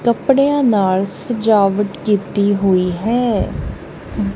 ਕਪੜਿਆਂ ਨਾਲ ਸਜਾਵਟ ਕੀਤੀ ਹੋਈ ਹੈ।